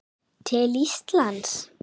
til Íslands?